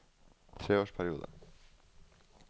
treårsperiode